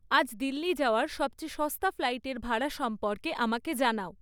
আজ দিল্লি যাওয়ার সবচেয়ে সস্তা ফ্লাইটের ভাড়া সম্পর্কে আমাকে জানাও